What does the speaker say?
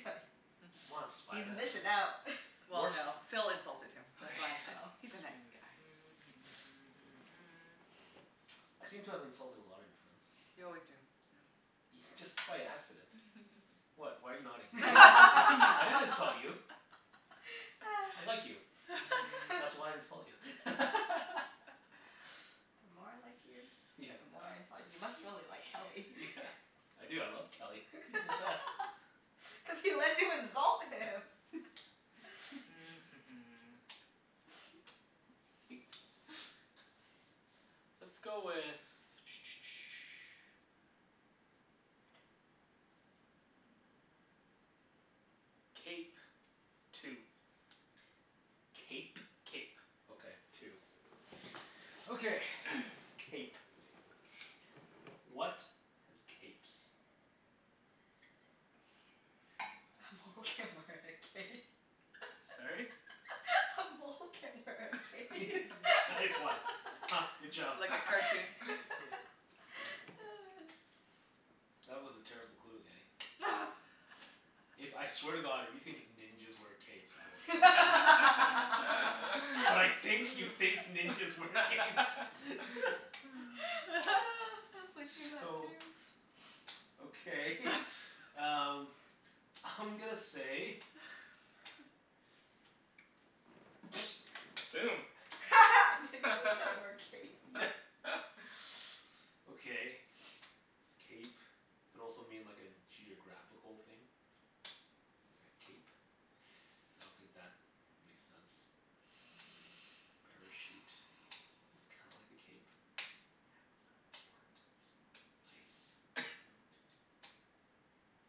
guy. Come on Spy He's Master. missin' out. Well Wart? no, Phil insulted him. Okay. That's why I said, Oh. "He's a night guy." I seem to have insulted a lot of your friends. You always do, yeah. Ye- just by accident. What? Why are you nodding? I didn't insult you. I like you. That's why I insult you. The more I like you, Yeah. the more I insult you. You must really like Kelly. Yeah. I do. I love Kelly. He's the best. Cuz he lets you insult him. Let's go with Cape. Two. Cape? Cape. Okay. Two. Okay. Cape. What has capes? A mole can wear a cape. A mole can wear a cape. Nice one. Huh. Good job. Like a cartoon. Yeah. That was a terrible clue, Kenny. If, I swear to god, if you think ninjas wear capes I will I kill you. But I was think you thinking think ninjas wear capes. that too. So okay um I'm gonna say Boom. Ninjas don't wear capes. Yeah. Okay. Cape could also mean like a geographical thing. Like a cape. I don't think that makes sense. A parachute is kinda like a cape ice note.